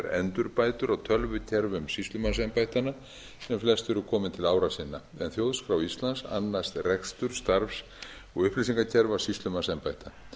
endurbætur á tölvukerfum sýslumannsembættanna sem flest eru komin til ára sinna en þjóðskrá íslands annast rekstur starfs og upplýsingakerfa sýslumannsembætta